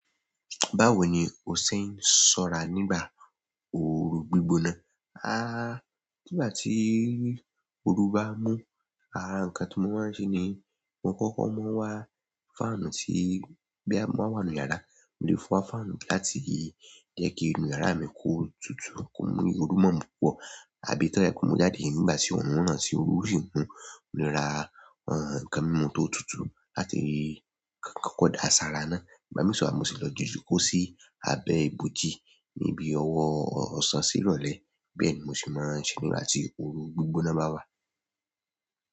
Báwo ni o ṣe ń ṣọ́ra nígbà oru gbígbóná? A, nígbà tí oru bá mú, àrà nǹkan tí mo máa ń ṣe ni mo kọ́kọ́ máa ń wá fáànù tí bí a bá wà nínú yàrá, mo lè fọ́ fáànù láti jẹ́ kí inú yàrá mi kó tutù, kó mú irú mọ̀ ọ́n púpọ̀ àbí tọ́rí ẹ kú mo jáde nígbà tí òórùn wọ́n náà sì orí rí wọn, mo lè ra ẹ̀ nǹkan mímu tó tutù láti kọ́kọ́ da asara náà. Ìgbà mìíràn sì wáa mo sì le lọ jokó sí abẹ́ ibòji níbi ọwọ́ ọ̀sán sí ìrọ̀lẹ́. Bẹ́ẹ̀ ni mo sì máa ń ṣe nígbà tí oru gbígbóná bá wà.